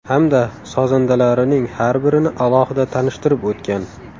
Hamda sozandalarining har birini alohida tanishtirib o‘tgan.